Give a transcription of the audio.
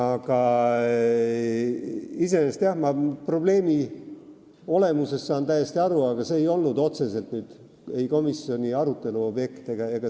Ma saan küll probleemi olemusest täiesti aru, aga see ei olnud otseselt komisjonis arutelul.